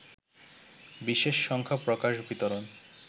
বিশেষ সংখ্যা প্রকাশ বিতরণ